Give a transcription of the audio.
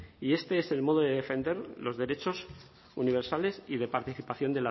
y este es el modo de defender los derechos universales y de participación